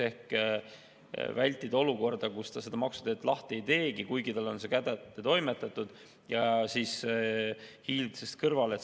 Soov on vältida olukorda, kus ta seda maksuteadet lahti ei teegi, kuigi talle on see kätte toimetatud, ja hiilib sellest kõrvale.